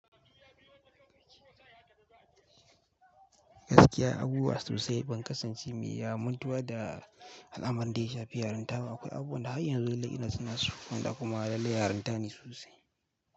Gaskiya, abubuwa sosai ban kasance mai ya mutuwa da al'amurran da ke shafi yaranta ba. Akwai abubuwan da har yanzu lallai ina tuna su wanda kuma lallai yarinta ne sosai.